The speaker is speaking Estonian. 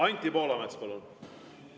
Anti Poolamets, palun!